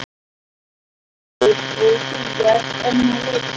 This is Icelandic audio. Höskuldur: Og þú ert enn að leita?